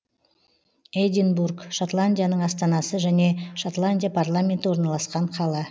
эдинбург шотландияның астанасы және шотландия парламенті орналасқан қала